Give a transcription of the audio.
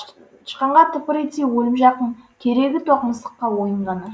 тышқанға тыпыр етсе өлім жақын керегі тоқ мысыққа ойын ғана